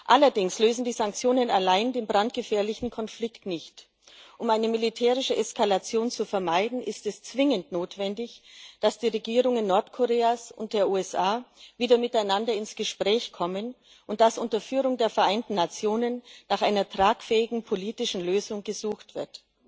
Allerdings lösen die Sanktionen allein den brandgefährlichen Konflikt nicht. Um eine militärische Eskalation zu vermeiden, ist es zwingend notwendig, dass die Regierungen Nordkoreas und der USA wieder miteinander ins Gespräch kommen, und dass unter Führung der Vereinten Nationen nach einer tragfähigen politischen Lösung gesucht wird.